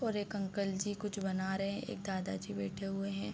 और एक अंकल जी कुछ बना रहे हैं एक दादा जी बैठे हुए हैं।